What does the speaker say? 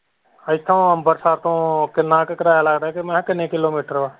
ਇੱਥੋ ਅੰਮ੍ਰਿਤਸਰ ਤੋ ਕਿੰਨਾ ਕ ਕਰਾਇਆ ਲੱਗਦਾ ਹੈ ਤੇ ਮੈਂ ਕਿਹਾ ਕਿੰਨੇ ਕਿਲੋਮੀਟਰ ਹੈ?